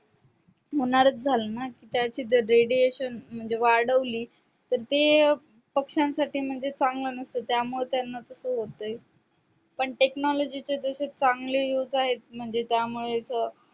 होणारच झाल ना कि त्याची radiation म्हणजे वाढवली तर ते पक्ष्यांसाठी म्हणजे चांगलं नसत त्यामुळं त्यांना तस होतय पण technology चे जसे चांगले use आहेत म्हणजे त्यामुळेच